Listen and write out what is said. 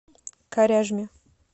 коряжме